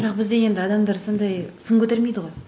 бірақ бізде енді адамдар сондай сын көтермейді ғой